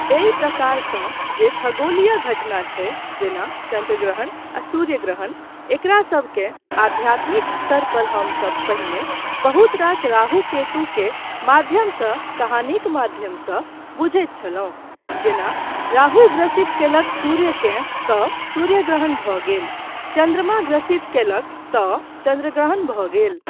एहि प्रकारसंँ जे खगोलीय घटना छै जेना चन्द्रग्रहण आ सूर्यग्रहण, एकरासबकेँ आध्यात्मिक स्तर पर हमसब पहिने बहुत रास राहु केतु के माध्यमसँ कहानीक माध्यमसंँ बुझैत छलहुँ जेना राहु ग्रसित कयलक सूर्यकेँ तँ सूर्यग्रहण भऽ गेल, चन्द्रमा ग्रसित कयलक तँ चन्द्रग्रहण भऽ गेल।